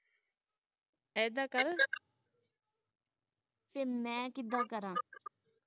ਐਦਾਂ ਕਰ ਤੇ ਮੈਂ ਕਿੱਦਾਂ ਕਰਾਂ